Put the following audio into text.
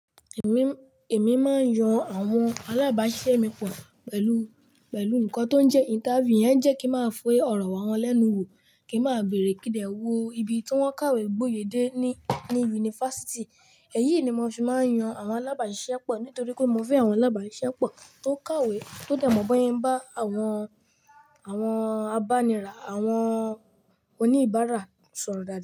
Èmi máa ń yan àwọn alábàáṣiṣẹ́ mi pọ̀ pẹ̀lú, pẹ̀lú nǹkan tó ń jẹ́ interview. Ìyẹn jẹ́ kí máa fi ọrọ̀ wà wọn lẹ́nu wò, kí n máa bèrè kí dẹ̀ wo ibi tí wọ́n kàwé gboyè dé ní, ní yunifásítì. Èyí ni mo ṣe máa ń yan àwọn alábàáṣiṣẹ́ pọ̀ nítorí pé mo fẹ́ àwọn alábàáṣiṣẹ́ pọ̀ tó kàwé, tó dà mọ̀ bóyen bá àwọn, àwọn abánira, àwọn oníbàárà sọ̀rọ̀ dáadáa.